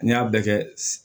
N'i y'a bɛɛ kɛ